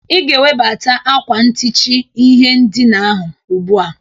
Ị ga-ewebata akwa ntichi ihe ndịna ahụ ugbụa!